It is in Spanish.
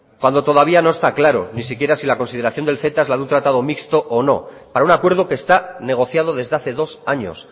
cuando todavía no está claro ni siquiera si la consideración del ceta es la de un tratado mixto o no para un acuerdo que está negociado desde hace dos años